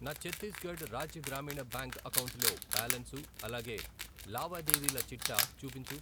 నా ఛత్తీస్గఢ్ రాజ్య గ్రామీణ బ్యాంక్ అకౌంటులో బ్యాలన్సు, అలాగే లావాదేవీల చిట్టా చూపించు.